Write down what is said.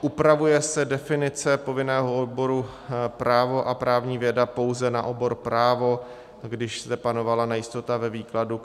Upravuje se definice povinného oboru právo a právní věda pouze na obor právo, když zde panovala nejistota ve výkladu,